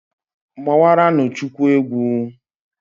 Gbawaranụ Chukwu egwu.